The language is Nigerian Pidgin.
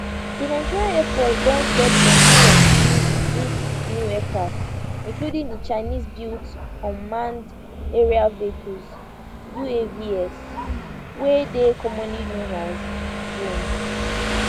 di nigerian air force don get plenti of dis dis new aircrafts including di chinese built unmanned aerial vehicles uavs wey dey commonly known as drones